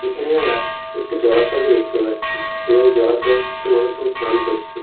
এখানে আমরা একটি জলাশয়কে দেখতে পাচ্ছি এবং এই জলাশয়ে কিছু মানুষজন স্নান করছে।